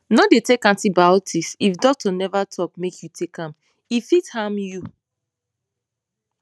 no dey take antibiotics if doctor never talk make you take am e fit harm you